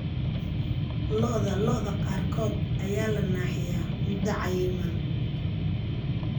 Lo'da lo'da qaarkood ayaa la naaxiyaa muddo cayiman.